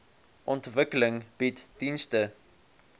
ontwikkeling bied dienste